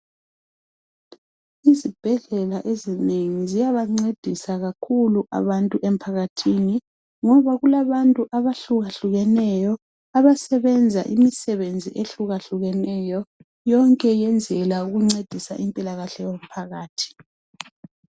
Izibhedlela ezinengi ziyaba ncedisa abantu kakhulu emphakathini ngoba kulabantu abahlukahlukeneyo abasebenza imisebenzi ehlukeneyo wonke iyenzela ukuncedisa impilakahle yomphakathi